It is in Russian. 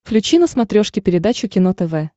включи на смотрешке передачу кино тв